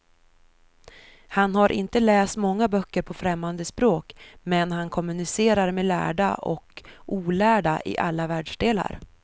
Han har inte läst många böcker på främmande språk, men han kommunicerar med lärda och olärda i alla världsdelar.